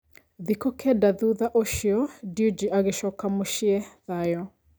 Thikũ kenda thutha ũcio, Dewji agĩcoka mũcĩĩ thayũ